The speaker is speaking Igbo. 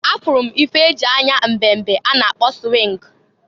A furu m ife e ji anya mbe mbe a na-akpọ swingụ.